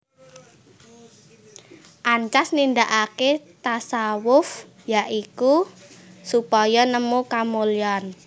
Ancas nindakaké tasawuf ya iku supaya nemu kamulyan